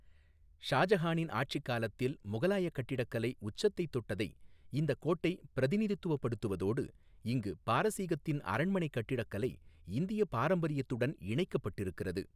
ஷாஜஹானின் ஆட்சிக் காலத்தில் முகலாயக் கட்டிடக்கலை உச்சத்தைத் தொட்டதை இந்தக் கோட்டை பிரதிநிதித்துவப்படுத்துவதோடு இங்கு பாரசீகத்தின் அரண்மனைக் கட்டிடக்கலை இந்தியப் பாரம்பரியத்துடன் இணைக்கப்பட்டிருக்கிறது.